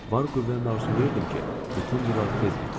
Var qüvvənlə arzulayırdım ki, bütün bunlar tez bitsin.